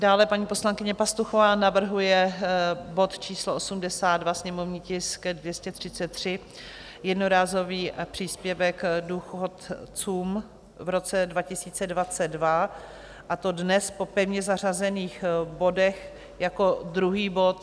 Dále paní poslankyně Pastuchová navrhuje bod číslo 82, sněmovní tisk 233, jednorázový příspěvek důchodcům v roce 2022, a to dnes po pevně zařazených bodech jako druhý bod.